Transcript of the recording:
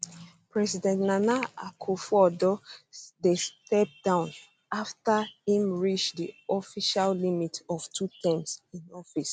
president nana akufoaddo dey step down afta im reach di official limit of two terms in office